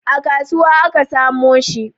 A kasuwa aka samo shi